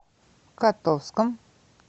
котовском